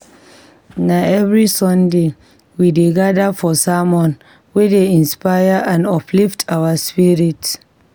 Na every Sunday, we dey gather for sermon wey dey inspire and uplift our spirits.